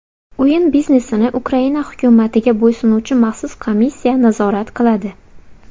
O‘yin biznesini Ukraina hukumatiga bo‘ysunuvchi maxsus komissiya nazorat qiladi.